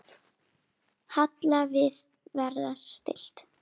Halla: Að vera stillt.